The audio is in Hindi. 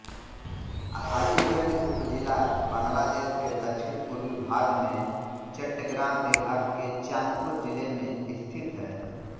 हाजीगंज उपजिला बांग्लादेश के दक्षिणपूर्वी भाग में चट्टग्राम विभाग के चाँदपुर जिले में स्थित है